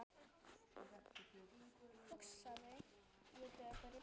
hugsaði ég döpur í bragði.